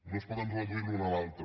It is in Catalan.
no es poden reduir l’un a l’altre